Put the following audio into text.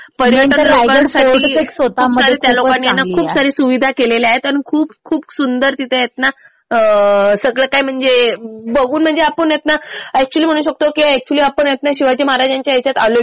पर्यटक लोकांसाठी खूप सारे त्या लोकांनी सुविधा केलेल्या आहेत आणि खूप खूप सुंदर तिथे आहेत ना सगळं काय म्हणजे बघून म्हणजे आपण एक्चुअली म्हणू शकतो कि एक्चुअली आपण शिवाजी महाराजांच्या ह्याच्यात आलो